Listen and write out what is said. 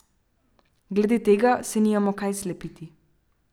Glede tega se nimamo kaj slepiti.